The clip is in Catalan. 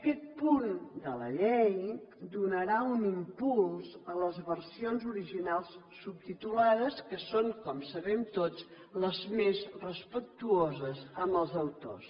aquest punt de la llei donarà un impuls a les versions original subtitulades que són com sabem tots les més respectuoses amb els autors